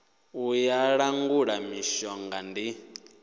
ya u langula mishonga ndi